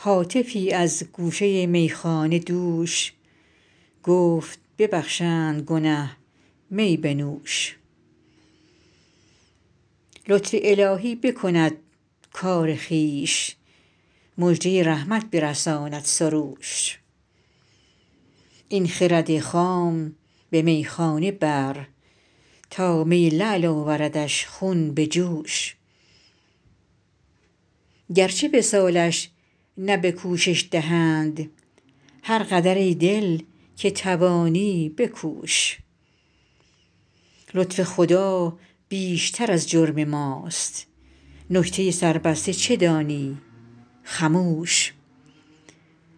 هاتفی از گوشه میخانه دوش گفت ببخشند گنه می بنوش لطف الهی بکند کار خویش مژده رحمت برساند سروش این خرد خام به میخانه بر تا می لعل آوردش خون به جوش گرچه وصالش نه به کوشش دهند هر قدر ای دل که توانی بکوش لطف خدا بیشتر از جرم ماست نکته سربسته چه دانی خموش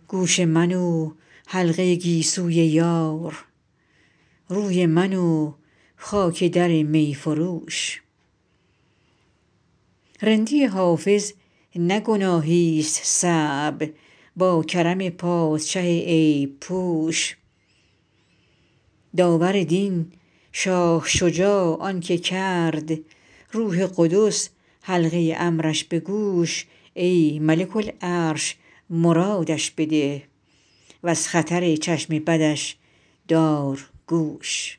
گوش من و حلقه گیسوی یار روی من و خاک در می فروش رندی حافظ نه گناهیست صعب با کرم پادشه عیب پوش داور دین شاه شجاع آن که کرد روح قدس حلقه امرش به گوش ای ملک العرش مرادش بده و از خطر چشم بدش دار گوش